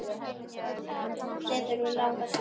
Hvað þurfa þau langa suðu?